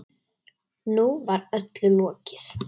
Nú var öllu lokið.